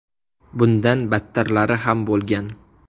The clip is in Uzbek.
Bundan battarlari ham bo‘lgan.